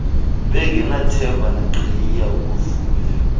bengenathemba naqhayiya ukufuya